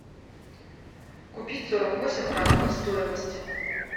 купить сорок восемь франков стоимость